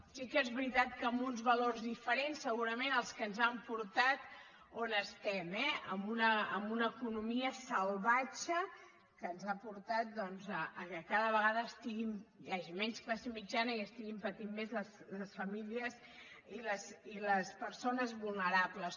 sí que és veritat que amb uns valors diferents segurament als que ens han portat on estem eh a una economia salvatge que ens ha portat doncs que cada vegada hi hagi menys classe mitjana i estiguin patint més les famílies i les persones vulnerables